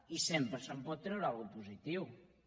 i sempre se’n pot treure alguna cosa positiva